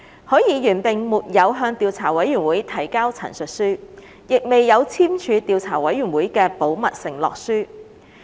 許議員並沒有向調査委員會提交陳述書，亦未有簽署調查委員會的保密承諾書。